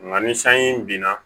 Nka ni sanji binna